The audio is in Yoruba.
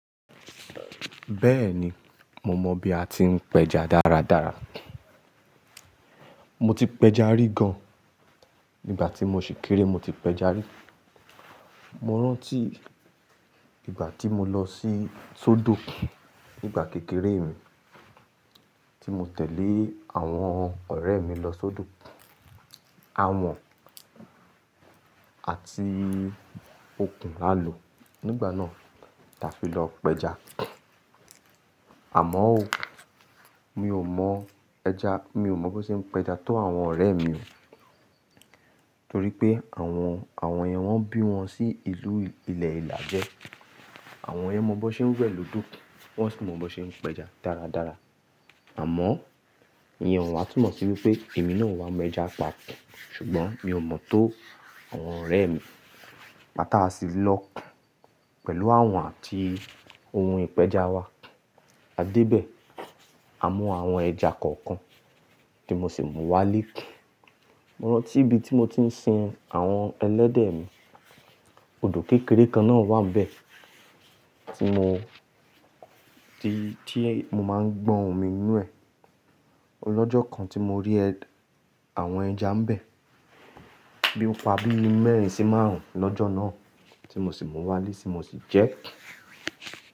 Bẹ́ẹ̀ni, mo mọ bí a ti ń péja dáradára. Mo ti péja rí gan, nígbà tí mo ṣì kéré mo ti péja rí. Mo rántí ìgbà tí mo lọ sí sódò nígbà kékeré mi, tí mo tẹ̀lé àwọn ọ̀rẹ́ mi lọ sódò. Awọ̀n àti okùn la lò nígbà náà láti lọ péja. Àmọ́ o, mi ò mọ ẹja, mi ò mọ bó ṣe ń péja tó àwọn ọ̀rẹ́ mi. Torí pé àwọn, àwọn yẹn wọ́n bí wọn sí ìlú ilẹ̀ ìlàjẹ. Àwọn yẹn mọ bó ṣe ń wẹ̀ lódò, wọ́n sì mọ bó ṣe ń péja dáradára. Àmọ́, ìyẹn o wàátù mọ̀ síwípé èmi náà wà máa éja pa ọ̀. Ṣùgbọ́n mi ò mọ tó àwọn ọ̀rẹ́ mi. Igbata sì lọ pẹ̀lú àwọn àti ohun ìpéja wa. A dé ibẹ̀, a mú àwọn ẹja kọ̀ọ̀kan tí mo sì mú wá ilé. Mo rántí ibi tí mo ti ń sin àwọn ẹlẹ́dẹ̀ mi, odò kékeré kan náà wà níbẹ̀ tí mo, tí, mo máa ń gbọn omi inú ẹ̀. Ọlọ́jọ́ kan tí mo rí ẹ, àwọn ẹja ń bẹ̀, bíi pa bíi mẹ́rin sí márùn-ún lọ́jọ́ náà tí mo sì mú wá lé ti mo sì jẹ́ ẹ́.